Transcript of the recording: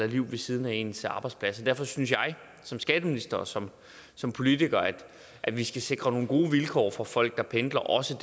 liv ved siden af ens arbejdsplads derfor synes jeg som skatteminister og som som politiker at vi skal sikre nogle gode vilkår for folk der pendler også